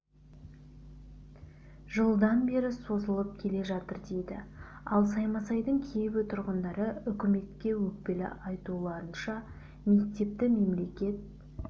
жылдан бері созылып келе жатыр дейді ал саймасайдың кейбір тұрғындары үкіметке өкпелі айтуларынша мектепті мемлекет